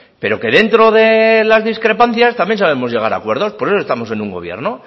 pero que dentro de las discrepancias también sabemos llegar a acuerdos por eso estamos en un gobierno